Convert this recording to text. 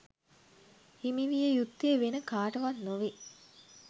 හිමි විය යුත්තේ වෙන කාටවත් නොවේ